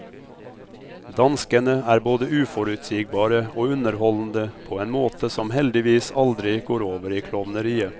Danskene er både uforutsigbare og underholdende på en måte somheldigvis aldri går over i klovneriet.